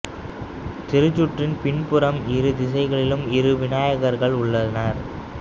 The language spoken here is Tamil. திருச்சுற்றின் பின் புறம் இரு திசைகளிலும் இரு விநாயகர்கள் உள்ளனர்